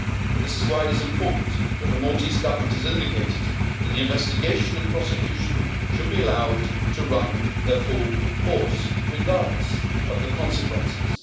This is why it is important that the Maltese Government has indicated that the investigation and prosecution should be allowed to run their full course regardless of the consequences.